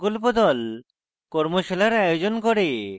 কর্মশালার আয়োজন করে